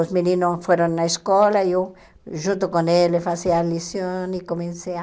Os meninos foram na escola, eu junto com eles fazia a lição e comecei a...